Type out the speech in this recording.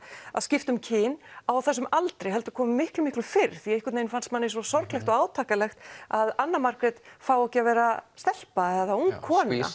að skipta um kyn á þessum aldri heldur komi miklu miklu fyrr því einhvern veginn fannst manni svo sorglegt og átakanlegt að Anna Margrét fái ekki að vera stelpa eða ung kona